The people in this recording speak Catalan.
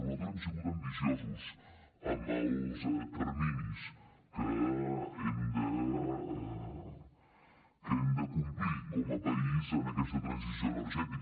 nosaltres hem sigut ambiciosos amb els terminis que hem de complir com a país en aquesta transició energètica